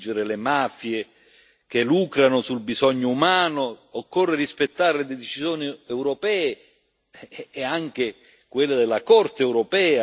occorre rispettare le decisioni europee e anche quella della Corte di giustizia europea e i paesi che non lo fanno devono essere sanzionati.